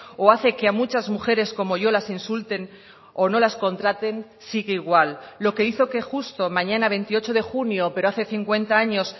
o hace que a muchas mujeres como yo las insulten o no las contraten sigue igual lo que hizo que justo mañana veintiocho de junio pero hace cincuenta años